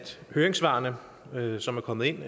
høringssvarene som er kommet ind